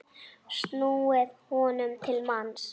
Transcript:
snúið honum til manns.